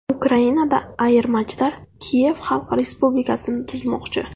Ukrainada ayirmachilar Kiyev Xalq respublikasini tuzmoqchi.